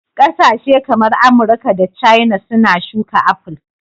Kasashe kamar Amurka da Caina suna shuka apple